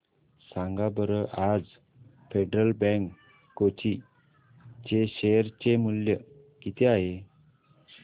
सांगा बरं आज फेडरल बँक कोची चे शेअर चे मूल्य किती आहे